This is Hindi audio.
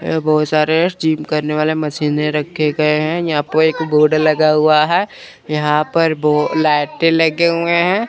ये बहोत सारे जिम करने वाले मशीनें रखे गये है यहां प एक बोर्ड लगा हुआ है यहां पे ब लाइटें लगे हुए हैं।